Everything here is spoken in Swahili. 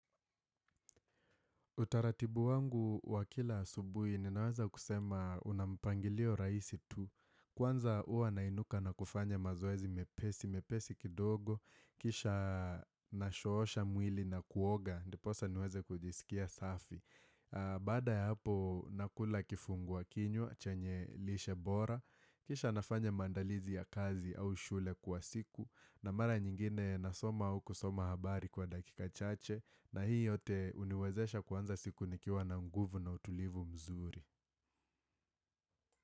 Utaratibu wangu wa kila asubuhi, ninaweza kusema una mpangilio rahisi tu. Kwanza huwa nainuka na kufanya mazoezi mepesi, mepesi kidogo, kisha nashoosha mwili na kuoga, ndiposa niweze kujisikia safi. Baada ya hapo nakula kifungua kinywa, chenye lishe bora Kisha nafanya maandalizi ya kazi au shule kwa siku na mara nyingine nasoma au kusoma habari kwa dakika chache na hii yote huniwezesha kuanza siku nikiwa na nguvu na utulivu mzuri.